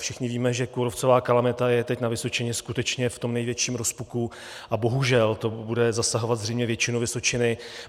Všichni víme, že kůrovcová kalamita je teď na Vysočině skutečně v tom největším rozpuku a bohužel to bude zasahovat zřejmě většinu Vysočiny.